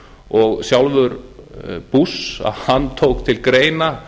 og sjálfur bush tók til greina